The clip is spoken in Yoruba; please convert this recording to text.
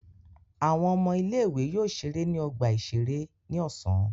Àwọn ọmọ ilé-ìwé yóò ṣeré ní ọgbà-ìṣeré ní ọ̀sán.